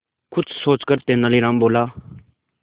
कुछ सोचकर तेनालीराम बोला